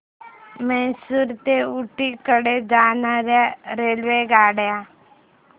म्हैसूर ते ऊटी कडे जाणार्या रेल्वेगाड्या